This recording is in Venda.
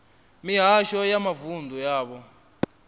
mihasho ya mavunḓu ya vha